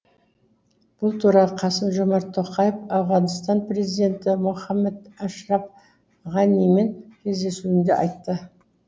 бұл туралы қасым жомарт тоқаев ауғанстан президенті мұхаммед ашраф ғанимен кездесуінде айтты